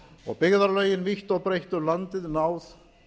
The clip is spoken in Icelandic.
og byggðarlögin vítt og breitt um landið náð